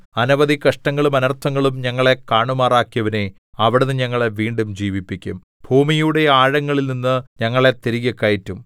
അനവധി കഷ്ടങ്ങളും അനർത്ഥങ്ങളും ഞങ്ങളെ കാണുമാറാക്കിയവനേ അവിടുന്ന് ഞങ്ങളെ വീണ്ടും ജീവിപ്പിക്കും ഭൂമിയുടെ ആഴങ്ങളിൽനിന്ന് ഞങ്ങളെ തിരികെ കയറ്റും